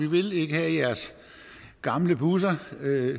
vi vil ikke have jeres gamle busser